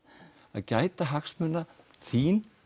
að gæta hagsmuna þín